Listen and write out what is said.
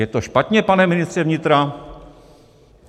Je to špatně, pane ministře vnitra?